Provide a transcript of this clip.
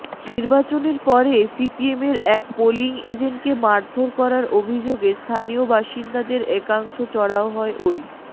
নির্বাচনের পরে সিপিএমের এক পোলিং এজেন্টকে মারধর করার অভিযোগে স্থানীয় বাসিন্দাদের একাংশ চড়াও হয় ওই